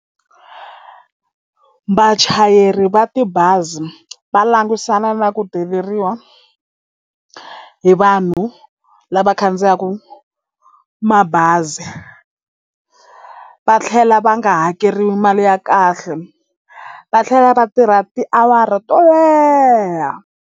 Vachayeri va tibazi va langusana na ku deleriwa hi vanhu lava khandziyaku mabazi va tlhela va nga hakeriwi mali ya kahle va tlhela va tirha tiawara to leha.